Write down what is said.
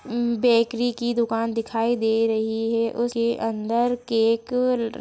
उम्म bakery की दुकान दिखाई दे रही है उसके अंदर केक ल--